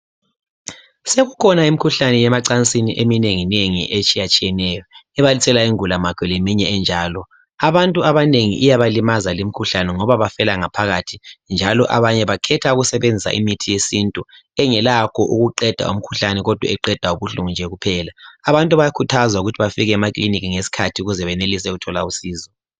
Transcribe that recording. Sokukhona imikhuhlane yemacansini eminenginengi etshiyatshiyeneyo ebalisela ingulamakhwa lemiṅye enjalo. Abantu abanengi iyabalimaza limkhuhlane ngoba bafela ngaphakathi njalo abanye bakherha ukusebenzisa imithi yesintu engelakho ukuqeda umkhuhlane eqeda ubuhlungu kuphela. Abantu bayakhuthazwa ukuthi bafike emakilinika ngesikhathi ukuze bathole usizo.